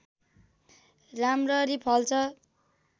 राम्ररी फल्छ